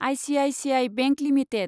ICICI bank limited